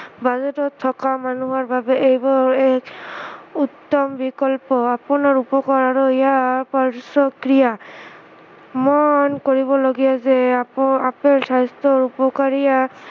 বাজেটত থকা মানুহৰ বাবে এইবোৰ এই উত্তম বিকল্প আপোনাৰ উপকাৰ আৰু ইয়াৰ পাৰ্শ্ৱক্ৰিয়া, মন কৰিবলগীয়া যে আপো আপোনাৰ স্ৱাস্থ্য়ৰ উপকাৰীতা